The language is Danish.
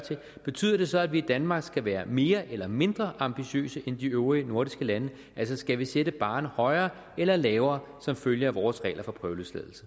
betyder det så at vi i danmark skal være mere eller mindre ambitiøse end de øvrige nordiske lande altså skal vi sætte barren højere eller lavere som følge af vores regler for prøveløsladelse